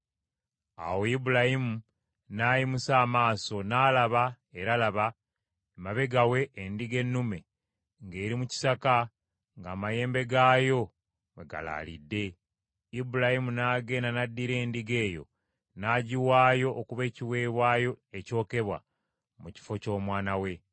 Awo Ibulayimu n’ayimusa amaaso, n’alaba, era laba, emabega we endiga ennume ng’eri mu kisaka ng’amayembe gaayo mwe galaalidde. Ibulayimu n’agenda n’addira endiga eyo n’agiwaayo okuba ekiweebwayo ekyokebwa, mu kifo ky’omwana we.